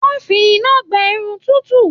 Wọn fí iná gbẹ Irun tutu.